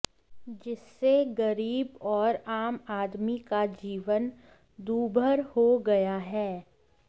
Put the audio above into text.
जिससे गरीब और आम आदमी का जीवन दूभर हो गया है